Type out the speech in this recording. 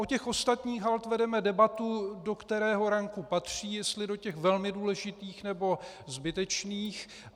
O těch ostatních holt vedeme debatu, do kterého ranku patří, jestli do těch velmi důležitých, nebo zbytečných.